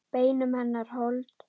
Beinum hennar hold.